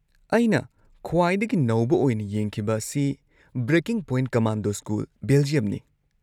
ꯑꯩꯅ ꯈ꯭ꯋꯥꯏꯗꯒꯤ ꯅꯧꯕ ꯑꯣꯏꯅ ꯌꯦꯡꯈꯤꯕ ꯑꯁꯤ 'ꯕ꯭ꯔꯦꯀꯤꯡ ꯄꯣꯏꯟꯠ: ꯀꯃꯥꯟꯗꯣ ꯁ꯭ꯀꯨꯜ, ꯕꯦꯜꯖꯤꯌꯝ"ꯅꯤ꯫